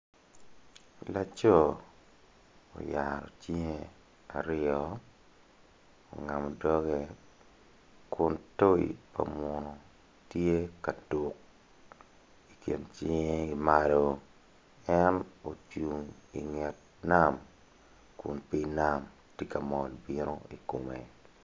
Laco oyaro cinge aryo ongamo dogge kun toyi pa munu tye ka tuk i kin cinge ki malo en ocung inget nam kun pii nam ti ka mol bino i kome